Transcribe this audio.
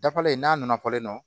Dafalen n'a nana fɔlen no